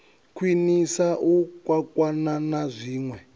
khwiniswa u kwakwana na zwinwe